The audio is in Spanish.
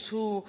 su